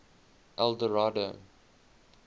eldorado